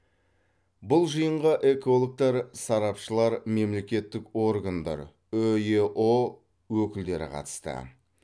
бұл жиынға экологтар сарапшылар мемлекеттік органдар үеұ өкілдері қатысты